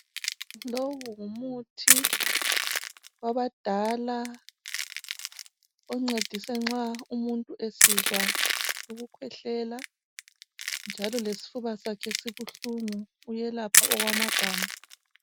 Lowu ngumuthi wabadala oncedisa nxa umuntu esizwa ukukhwehlela njalo lesifuba sakhe sibuhlungu uyelapha okwamagama